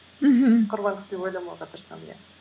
мхм құрбандық деп ойламауға тырысамын иә